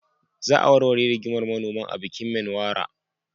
Za a warware rigimar manoman a bikin Menwara.